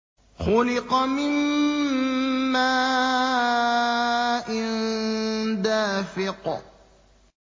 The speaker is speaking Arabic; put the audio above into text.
خُلِقَ مِن مَّاءٍ دَافِقٍ